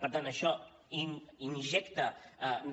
per tant això injecta